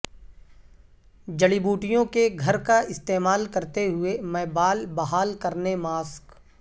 جڑی بوٹیوں کے گھر کا استعمال کرتے ہوئے میں بال بحال کرنے ماسک